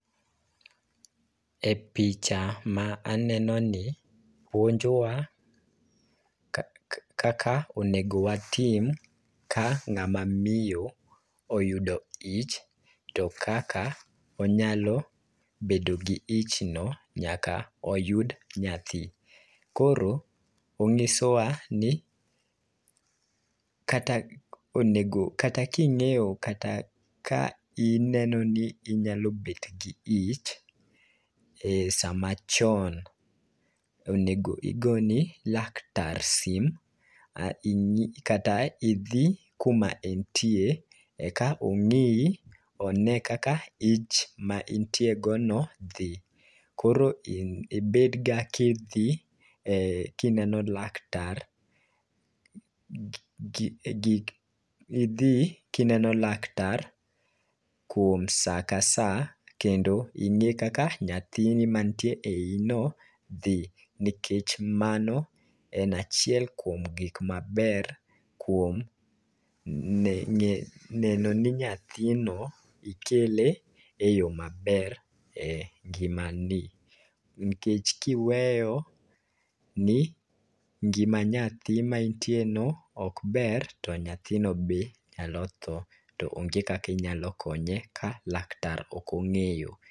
E picha ma aneno ni, puonjo wa kaka onego watim ka ng'ama miyo oyudo ich, to kaka onyalo bedo gi ich no nyaka oyud nyathi. Koro ong'iso wa ni, kata onego, kata ka ing'eyo, kata ka ineno ni inyalo bet gi ich, e sama chon, onego igoni laktar sim, kata idhi kuma entie, eka ong'ii one kaka ich ma intie go no dhi. Koro ibed ga ka idhi kineno laktar e gik, idhi kineno laktar kuom sa ka sa kendo ing'e kaka nyathini mantie e ii no dhi. Nikech mano en achiel kuom gik maber kuom neno ni nyathino ikele e yo maber e ngimani. Nikech kiweyo ni ngima nyathi ma intie no okber, to nyathino be nyalo tho to onge kaka inyalo konye ka laktar ok ong'eyo.